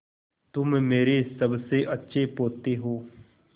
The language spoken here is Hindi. तुम मेरे सबसे अच्छे पोते हो